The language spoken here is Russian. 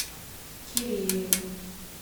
кирееву